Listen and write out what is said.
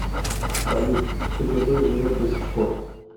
салют кгб живет до сих пор